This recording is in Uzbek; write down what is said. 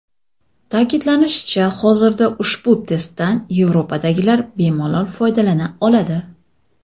Ta’kidlanishicha, hozirda ushbu testdan Yevropadagilar bemalol foydalana oladi.